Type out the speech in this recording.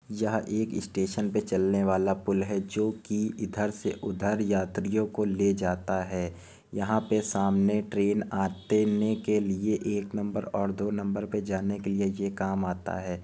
यहाँ एक स्टेशन पे चलने वाला पुल है जो कि इधर से उधर यात्रियों को ले जाता है यहाँ पे सामने ट्रेन आतेने के लिए एक नंबर और दो नंबर पे जाने के लिए ये काम आता है।